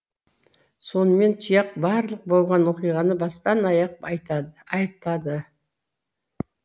сонымен тұяқ барлық болған оқиғаны бастан аяқ айтады